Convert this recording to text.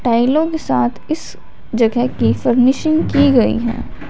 टाइलों के साथ इस जगह की फर्निशिंग की गई है।